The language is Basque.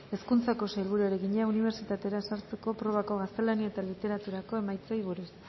hezkuntzako sailburuari egina unibertsitatera sartzeko probako gaztelania eta literaturako emaitzei buruz